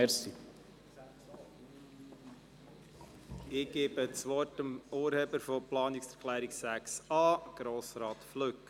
Ich gebe das Wort dem Urheber der Planungserklärung 6a, Grossrat Flück.